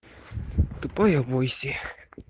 тупая войси